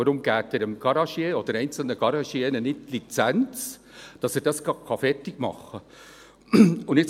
Warum geben Sie dem Garagier oder einzelnen Garagiers nicht die Lizenz, dass er es gleich fertig machen kann?